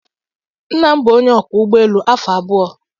Nna m bụ onye ọkwọ ụgbọ elu afọ abụọ.